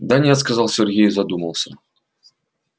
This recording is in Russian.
да нет сказал сергей и задумался